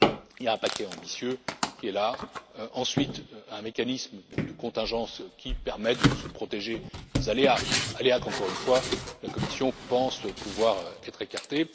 Il y a un paquet ambitieux qui est là, ensuite un mécanisme de contingence qui permet de se protéger des aléas dont, encore une fois, la Commission pense pouvoir être écartée.